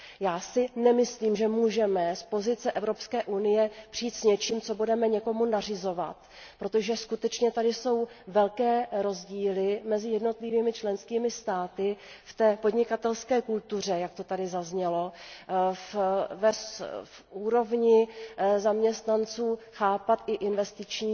Já si nemyslím, že můžeme z pozice Evropské unie přijít s něčím, co budeme někomu nařizovat, protože skutečně tady jsou velké rozdíly mezi jednotlivými členskými státy v podnikatelské kultuře, jak to zde zaznělo, ve schopnosti zaměstnanců chápat i investiční